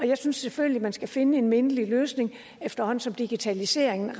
jeg synes selvfølgelig man skal finde en mindelig løsning efterhånden som digitaliseringen